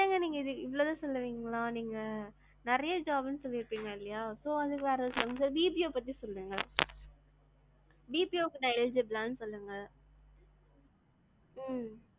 என்னங்க நீங்க இவளோ தான் சொல்லுவீங்களா நீங்க. நிறையா job னு சொல்லிருக்கீங்க இல்லையா, so வேற BPO பத்தி சொல்லுங்க. BPO க்கு நான் eligible ஆனு சொல்லுங்க. உம்